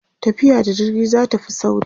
tafiya da jirgi zatafi sauri